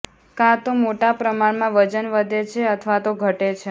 કાંતો મોટા પ્રમાણમાં વજન વધે છે અથવા તો ઘટે છે